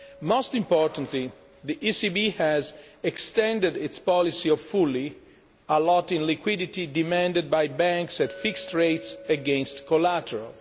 Most importantly, the ECB has extended its policy of fully allotting liquidity demanded by banks at fixed rates against collateral.